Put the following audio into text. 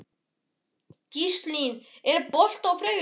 Gíslný, er bolti á þriðjudaginn?